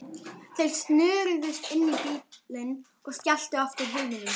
Þeir snöruðust inn í bílinn og skelltu aftur hurðunum.